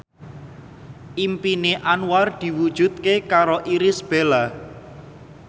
impine Anwar diwujudke karo Irish Bella